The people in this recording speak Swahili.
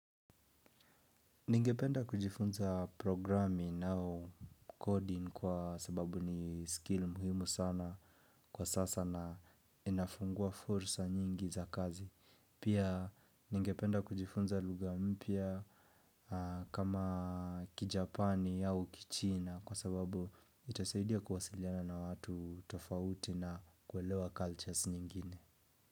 Ningependa kujifunza programing au coding kwa sababu ni skill muhimu sana kwa sasa na inafungua fursa nyingi za kazi pia ningependa kujifunza lugha mpya kama kijapani au kichina kwa sababu itasaidia kuwasiliana na watu tofauti na kuelewa cultures nyingine.